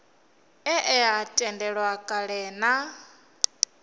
e a tendelwa kale na